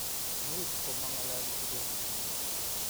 Much komangalali Kibet